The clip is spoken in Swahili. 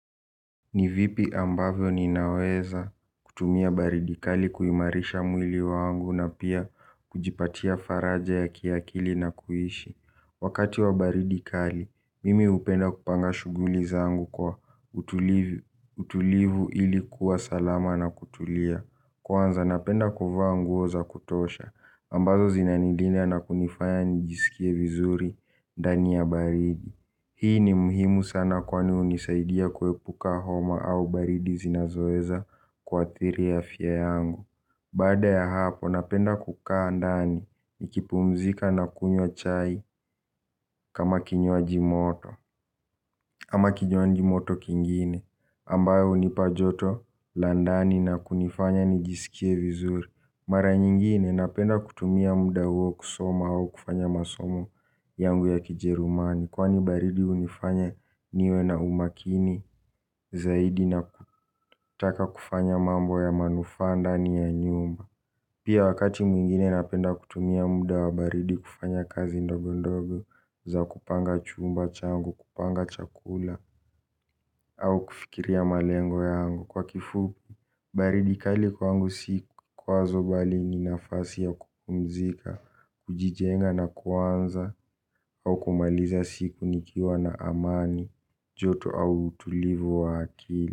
Ni vipi ambavyo ninaweza kutumia baridi kali kuimarisha mwili wangu na pia kujipatia faraja ya kiakili na kuishi. Wakati wa baridi kali, mimi hupenda kupanga shughuli zangu kwa utulivu ili kuwa salama na kutulia. Kwanza napenda kuvaa nguo za kutosha, ambazo zinanilinda na kunifanya nijisikie vizuri ndani ya baridi. Hii ni muhimu sana kwani hunisaidia kuepuka homa au baridi zinazoweza kuathiri afya yangu. Baada ya hapo napenda kukaa ndani nikipumzika na kunywa chai kama kinywaji moto ama kinywaji moto kingine ambayo hunipa joto la ndani na kunifanya nijisikie vizuri. Mara nyingine napenda kutumia muda huo kusoma au kufanya masomo yangu ya kijerumani. Kwani baridi hunifanya niwe na umakini zaidi na kutaka kufanya mambo ya manufaa ndani ya nyumba. Pia wakati mwingine napenda kutumia muda wa baridi kufanya kazi ndogondogo za kupanga chumba changu, kupanga chakula au kufikiria malengo yangu kwa kifupi. Baridi kali kwangu si kwazo bali ni nafasi ya kupumzika, kujijenga na kuanza au kumaliza siku nikiwa na amani, joto au utulivu wa akili.